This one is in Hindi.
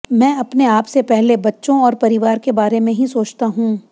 मैं अपने आप से पहले बच्चों और परिवार के बारे में ही सोचता हूं